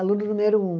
Aluno número um.